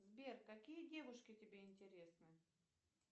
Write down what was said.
сбер какие девушки тебе интересны